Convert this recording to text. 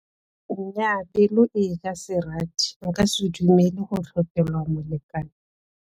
Nnyaa pelo eja serati, nka se dumele go tlhophelwa molekane.